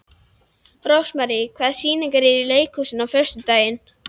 Rósmarý, hvaða sýningar eru í leikhúsinu á föstudaginn?